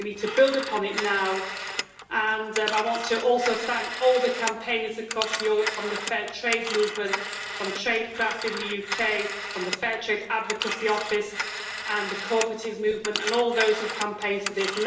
We now need to build upon it, and I want to thank, too, all the campaigners across Europe from the Fair Trade movement, from Traidcraft in the UK, from the Fair Trade Advocacy Office and the cooperative movement, and all those who campaigned for this.